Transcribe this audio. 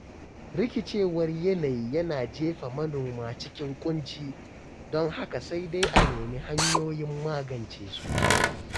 Rikicewar yanayi yana jefa manoma cikin Kunci, don haka sai dai a nemi hanyoyin magance su